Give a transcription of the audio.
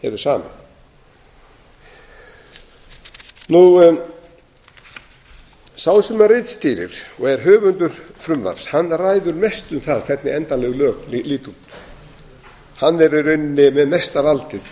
hefur samið sá sem ritstýrir og er höfundur frumvarps ræður mestu um það hvernig endanleg lög líta út hann er í rauninni með mesta valdið í